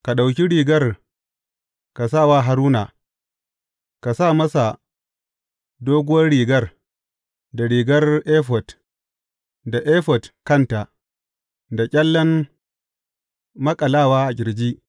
Ka ɗauki rigar ka sa wa Haruna, ka sa masa doguwar rigar, da rigar efod, da efod kanta, da ƙyallen maƙalawa a ƙirji.